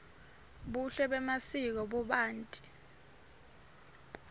buhle bemasiko bubanti